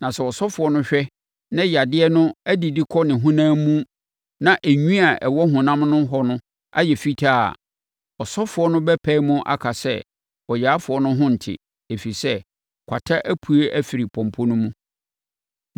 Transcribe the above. Na sɛ ɔsɔfoɔ no hwɛ na yadeɛ no adidi kɔ ne honam mu na enwi a ɛwɔ honam no hɔ no ayɛ fitaa a, ɔsɔfoɔ no bɛpae mu aka sɛ ɔyarefoɔ no ho nte, ɛfiri sɛ, kwata apue afiri pɔmpɔ no mu.